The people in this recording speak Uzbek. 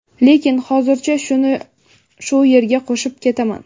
lekin hozircha shuni shu yerga qo‘shib ketaman:.